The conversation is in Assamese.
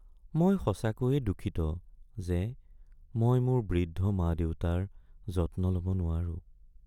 মই সঁচাকৈয়ে দুঃখিত যে মই মোৰ বৃদ্ধ মা-দেউতাৰ যত্ন ল'ব নোৱাৰো।